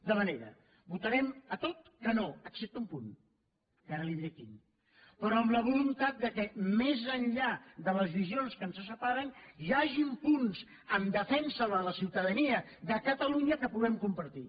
de manera que votarem a tot que no excepte un punt que ara li diré quin però amb la voluntat que més enllà de les visions que ens separen hi hagin punts en defensa de la ciutadania de catalunya que puguem compartir